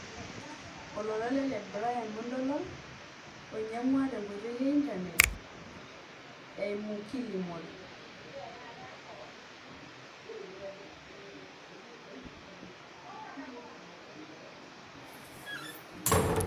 Olola ele le Brian muntolol oinyangwa te nkoitoi e internet eimu kilimall